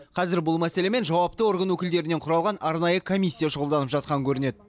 қазір бұл мәселемен жауапты орган өкілдерінен құралған арнайы комиссия шұғылданып жатқан көрінеді